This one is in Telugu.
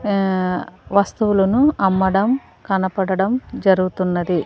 ఆ వస్తువులను అమ్మడం కనపడడం జరుగుతున్నది.